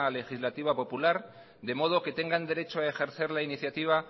legislativa popular de modo que tengan derecho a ejercer la iniciativa